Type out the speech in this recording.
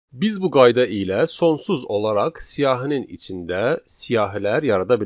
Biz bu qayda ilə sonsuz olaraq siyahının içində siyahilər yarada bilərik.